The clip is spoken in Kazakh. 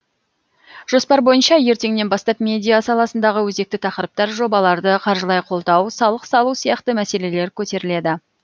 жоспар бойынша ертеңнен бастап медиа саласындағы өзекті тақырыптар жобаларды қаржылай қолдау салық салу сияқты мәселелер көтеріледі